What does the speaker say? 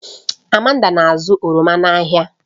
Amanda na-azụta oroma n'ahịa